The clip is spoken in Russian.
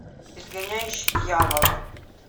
изгоняющий дьявола